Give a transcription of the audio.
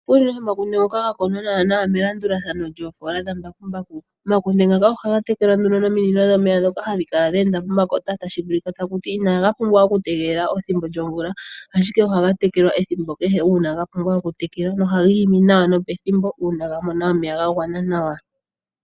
Unene omakunde ngoka ga kunwa melandulathano lyoofola dhambakumbaku, omakunde ngaka ohaga tekelwa nominino dhomeya ndhoka hadhi kala dhe enda pomakota. Inaga pumbwa okutegelela okukunwa pethimbo lyomvula, ashike ohaga tekelwa ethimbo kehe ga pumbwa okutekelwa, ohaga imi nawa nopethimbo uuna ga mona omeya ga gwana nawa.